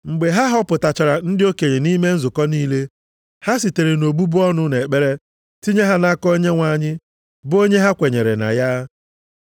Mgbe ha họpụtachara ndị okenye nʼime nzukọ niile. Ha sitere nʼobubu ọnụ na ekpere tinye ha nʼaka Onyenwe anyị, bụ onye ha kwenyere na ya.